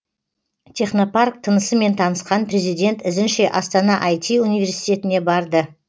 технопарк тынысымен танысқан президент ізінше астана іт университетіне барды